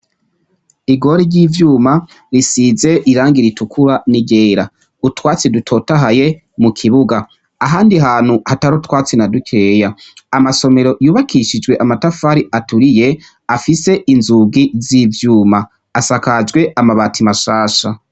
Igori ry'ivyuma risize irangi ritukura n'iryera. Utwatsi dutotahaye mu kibuga. Ahandi hantu hatari utwatsi na dukeya. Amasomero yubakishijwe amatafari aturiye, afise inzugi z'ivyuma. Asakajwe amabati mashasha.